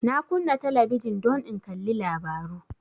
Na kunna talabijin don in kalli labaru